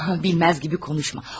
Bilməz kimi danışma.